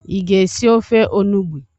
Ị ga-esi ofe onugbo?